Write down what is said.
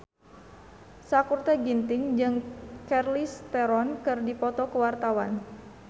Sakutra Ginting jeung Charlize Theron keur dipoto ku wartawan